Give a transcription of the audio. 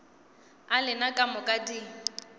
a lena ka moka di